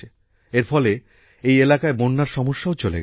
এর ফলে এই এলাকায় বন্যার সমস্যাও চলে গেছে